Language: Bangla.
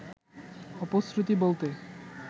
অপশ্রুতি বলতে